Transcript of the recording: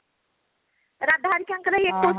ରାଧା ହେରିକା ଙ୍କର ଏକୋଇଶ